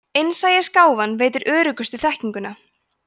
innsæisgáfan veitir öruggustu þekkinguna